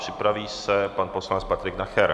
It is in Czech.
Připraví se pan poslanec Patrik Nacher.